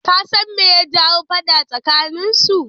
Kasan me ya jawo faɗa tsakanin su?